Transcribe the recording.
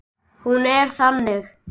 Hún er þannig